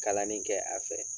Kalanni kɛ a fɛ